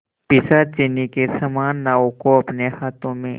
पिशाचिनी के समान नाव को अपने हाथों में